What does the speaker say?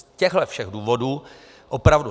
Z těchto všech důvodů opravdu